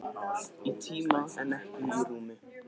Í tíma en ekki í rúmi.